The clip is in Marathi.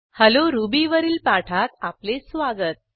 हेल्लो रुबी वरील पाठात आपले स्वागत